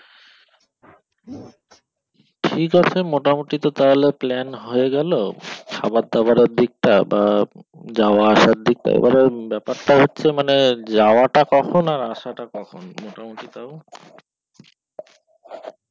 ঠিক আছে তাহলে মোটামোটীত plan হয়ে গেল খাবার দাবারের দিকটা আহ যাওয়া আসার দিকটা এবারে ব্যাপারটা হচ্ছে মানে যাওয়াটা কখন আর আসাটা কখন